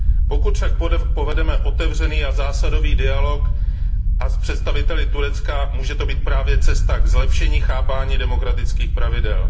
Pokud však povedeme otevřený a zásadový dialog s představiteli Turecka, může to být právě cesta k zlepšení chápání demokratických pravidel.